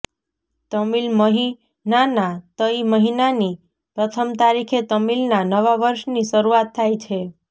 તમિલ મહિનાના તઈ મહિનાની પ્રથમ તારીખે તમિલના નવા વર્ષની શરૂઆત થાય છે